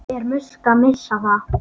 Er Musk að missa það?